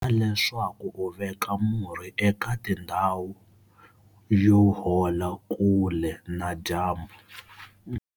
Vona leswaku u veka murhi eka tindhawu yo hola kule na dyambu.